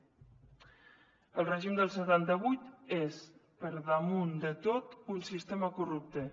el règim del setanta vuit és per damunt de tot un sistema corrupte